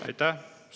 Aitäh!